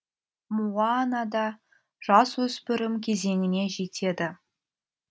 моана да жасөспірім кезеңіне жетеді